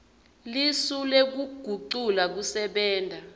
lisu lekugucula kusebenta